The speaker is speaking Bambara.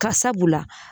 Ka sabula